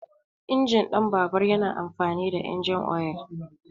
Injin ɗin babur yana amfani da injin oyal.